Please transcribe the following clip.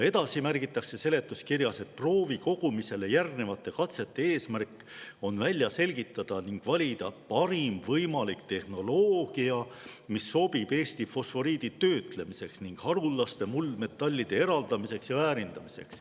Edasi märgitakse seletuskirjas, et proovikogumisele järgnevate katsete eesmärk on välja selgitada ning valida parim võimalik tehnoloogia, mis sobib Eesti fosforiidi töötlemiseks ning haruldaste muldmetallide eraldamiseks ja väärindamiseks.